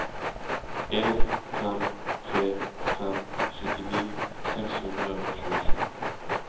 en fem tre fem syttini seks hundre og tjuesju